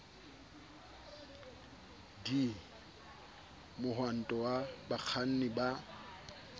d mohwanto wa bakganni ba